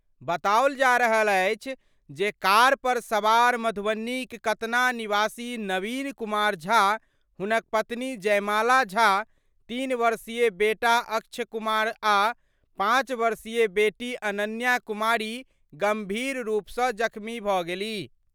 बताओल जा रहल अछि जे कार पर सवार मधुबनीक कतना निवासी नवीन कुमार झा, हुनक पत्नी जयमाला झा, तीन वर्षीय बेटा अक्ष कुमार आ पांच वर्षीय बेटी अनन्या कुमारी गंभीर रूप सं जख्मी भऽ गेलीह।